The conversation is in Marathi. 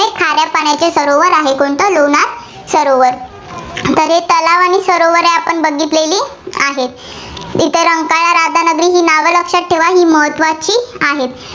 त्यामध्ये खाऱ्या पाण्याचे सरोवर आहे. कोणता लोणार सरोवर. तर हे तलाव आणि सरोवर आपण बघितले आहेत. इथं रंकाळा, राधानगरी ही नावं लक्षात ठेवा. ही महत्त्वाची आहेत.